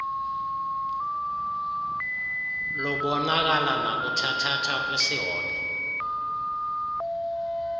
lubonakala nakuthathatha kwisihobe